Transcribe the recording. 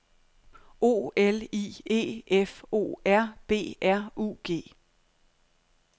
O L I E F O R B R U G